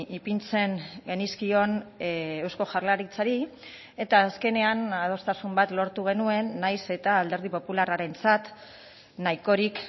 ipintzen genizkion eusko jaurlaritzari eta azkenean adostasun bat lortu genuen nahiz eta alderdi popularrarentzat nahikorik